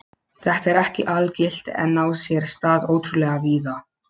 Þetta er ekki algilt en á sér stað ótrúlega víða.